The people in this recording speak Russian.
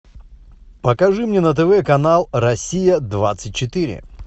покажи мне на тв канал россия двадцать четыре